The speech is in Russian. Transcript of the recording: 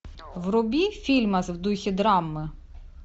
вруби фильмас в духе драмы